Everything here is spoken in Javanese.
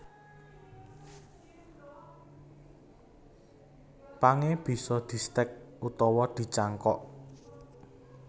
Pangé bisa distèk utawa dicangkok